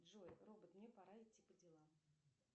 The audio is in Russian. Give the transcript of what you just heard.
джой робот мне пора идти по делам